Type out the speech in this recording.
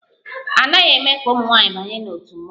A naghị eme ka ụmụ nwanyị banye n'òtù mmọnwụ